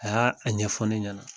Aa y' a ɲɛfɔ ne ɲɛna